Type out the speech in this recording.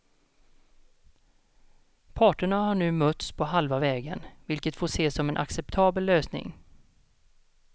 Parterna har nu mötts på halva vägen, vilket får ses som en acceptabel lösning.